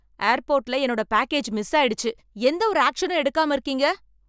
ஏர்போர்ட்ல என்னோட package miss ஆயிடுச்சு எந்த ஒரு ஆக்சனும் எடுக்காம இருக்கீங்க